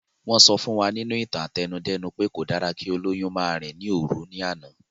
Wọ́n sọ fún wa nínú ìtàn àtẹnudẹ́nu pé kò dára kí olóyún máa rìn ní òru ní àná